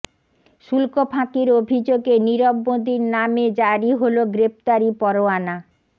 শুল্ক ফাঁকির অভিযোগে নীরব মোদীর নামে জারি হলো গ্রেপ্তারি পরোয়ানা